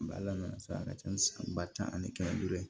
N bala sa a ka ca ni san ba tan ani kɛmɛ ni duuru ye